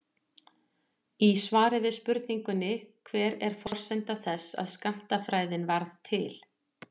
Í svari við spurningunni Hver er forsenda þess að skammtafræðin varð til?